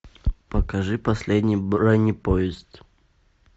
покажи последний бронепоезд